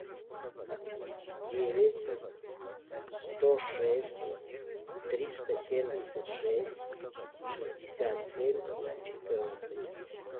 девять сто шесть триста семьдесят шесть шестьдесят семь четырнадцать